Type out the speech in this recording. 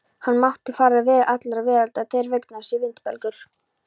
Hann mátti fara veg allrar veraldar þeirra vegna sá vindbelgur.